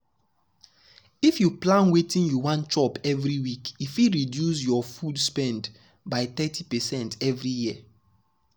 if you plan wetin you wan chop every week e fit reduce your food spend spend by thirty percent every year.